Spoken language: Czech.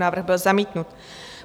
Návrh byl zamítnut.